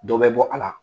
Dɔ bɛ bɔ a la